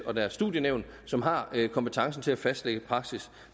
og deres studienævn som har kompetencen til at fastlægge praksis